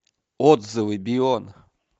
отзывы бион